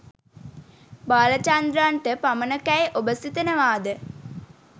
බාලචන්ද්‍රන්ට පමණකැයි ඔබ සිතනවාද?